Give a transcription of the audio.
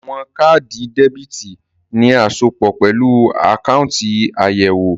Àwọn káàdì debítì ní asopọ̀ pẹ̀lú àkáùntì àyẹ̀wò